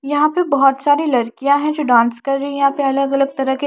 यहां पे बहोत सारी लड़कियां है जो डांस कर रही है यहां पे अलग अलग तरह के--